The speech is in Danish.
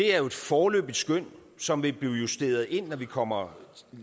er et foreløbigt skøn som vil blive justeret ind når vi kommer